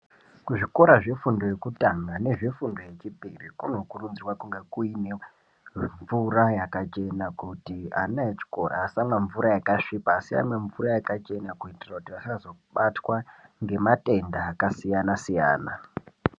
Ku zvikora zve fundo yekutanga nezve fundo yechipiri kuno kurudzirwa kunga kuine mvura yaka chena kuti ana echikora asamwa mvura yaka svipa asi amwe mvura yakachena kuitira kuti vasazo batwa nge matenda aka siyana siyana.